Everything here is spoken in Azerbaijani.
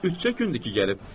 Üçüncü gündür ki, gəlib.